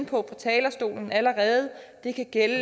på talerstolen allerede det kan gælde